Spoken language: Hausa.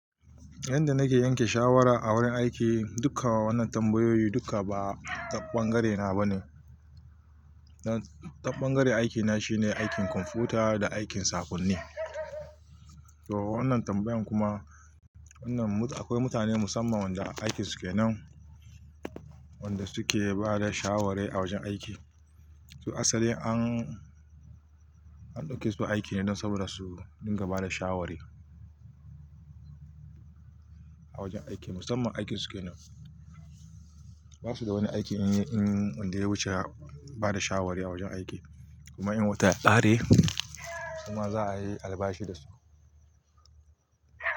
Yanda nake yanke shawara a wurin aiki, dukka wannan tambayoyi dukka ba ta ɓangare na ba ne. Taɓangaren aikina shine aikin kwamfuta da aikin sakonni. To wannan tambayan kuma, wannan mut-- akwai mutane musamman wanda aikin su ke nan, wanda suke bada shaware a wajen aiki. To asali an, an ɗauke su aiki ne don saboda su dinga bada shawara a wajen aiki. Musamman aikin su ke nan. Ba su da wani aiki yin, in, wanda ya wuce bada shawari a wajen aiki. Kuma in wata ya ƙare, kuma za a yi albashi da su.